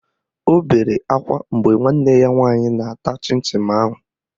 O bere akwa mgbe nwanne ya nwaanyị na-ata chịn chịn ahụ